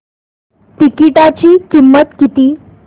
तिकीटाची किंमत किती